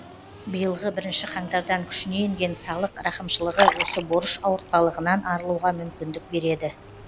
биылғы бірінші қаңтардан күшіне енген салық рақымшылығы осы борыш ауыртпалығынан арылуға мүмкіндік береді